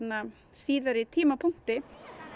síðari tímapunkti